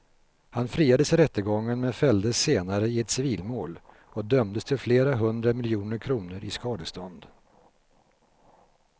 Han friades i rättegången men fälldes senare i ett civilmål och dömdes till flera hundra miljoner kronor i skadestånd.